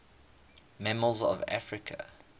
mammals of africa